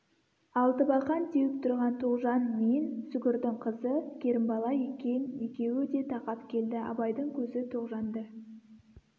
алтыбақан теуіп тұрған тоғжан мен сүгірдің қызы керімбала екен екеуі де тақап келді абайдың көзі тоғжанды